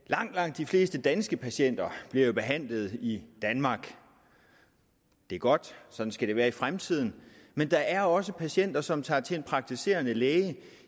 at langt langt de fleste danske patienter bliver behandlet i danmark det er godt sådan skal det være i fremtiden men der er også patienter som tager til en praktiserende læge